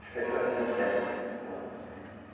As pessoas do meu tempo, vamos supor, né.